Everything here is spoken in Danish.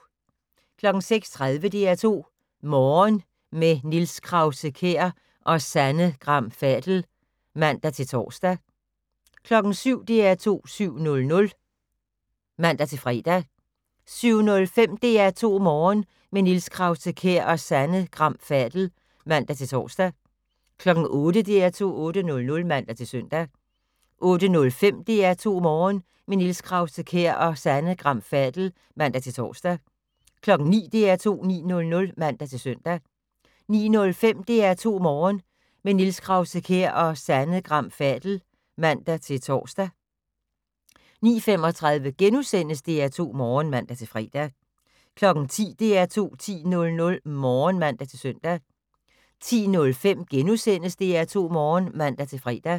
06:30: DR2 Morgen - med Niels Krause-Kjær og Sanne Gram Fadel (man-tor) 07:00: DR2 7:00 (man-fre) 07:05: DR2 Morgen - med Niels Krause-Kjær og Sanne Gram Fadel (man-tor) 08:00: DR2 8:00 (man-søn) 08:05: DR2 Morgen - med Niels Krause-Kjær og Sanne Gram Fadel (man-tor) 09:00: DR2 9:00 (man-søn) 09:05: DR2 Morgen - med Niels Krause-Kjær og Sanne Gram Fadel (man-tor) 09:35: DR2 Morgen *(man-fre) 10:00: DR2 10:00 (man-søn) 10:05: DR2 Morgen *(man-fre)